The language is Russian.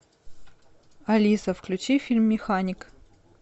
алиса включи фильм механик